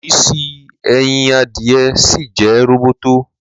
Ìrísí ẹyin adìyẹ ṣìì jẹ́ róbótó